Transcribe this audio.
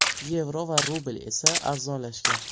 Yevro va rubl esa arzonlashgan.